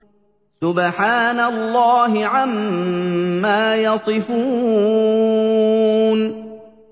سُبْحَانَ اللَّهِ عَمَّا يَصِفُونَ